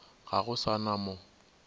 ga go sa na mo